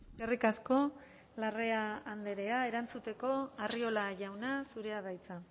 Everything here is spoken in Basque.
eskerrik asko larrea andrea erantzuteko arriola jauna zurea da hitza